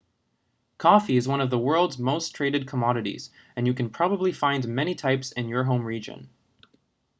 coffee is one of the world's most traded commodities and you can probably find many types in your home region